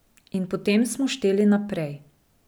In potem smo šteli naprej.